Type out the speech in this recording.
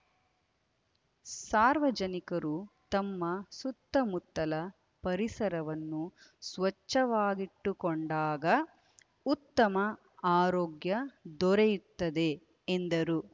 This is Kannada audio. ಸಾರ್ವಜನಿಕರು ತಮ್ಮ ಸುತ್ತ ಮುತ್ತಲ ಪರಿಸರವನ್ನು ಸ್ವಚ್ಛವಾಗಿಟ್ಟುಕೊಂಡಾಗ ಉತ್ತಮ ಆರೋಗ್ಯ ದೊರೆಯುತ್ತದೆ ಎಂದರು